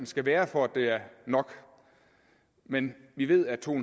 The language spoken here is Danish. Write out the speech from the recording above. skal være for at det er nok men vi ved at to